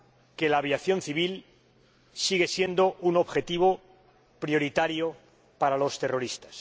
que la aviación civil sigue siendo un objetivo prioritario para los terroristas.